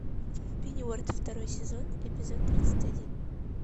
пенниуорт второй сезон эпизод тридцать один